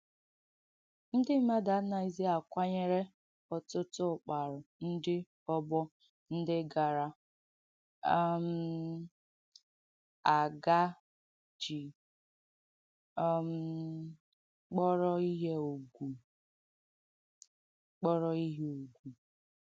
Ndị mmadụ ànàghīzī akwanyērē ọ̀tùtụ ụ̀kpàrū ndị ọ̀gbọ̀ ndị gara um aga jì um kpọ̀rọ̀ ihe ụ̀gwù. kpọ̀rọ̀ ihe ụ̀gwù.